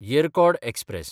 Yercaud express